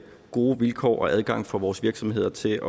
gode vilkår og adgang for vores virksomheder til